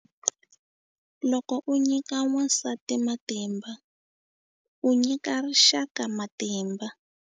Loko u nyika wansati matimba, u nyika rixaka matimba.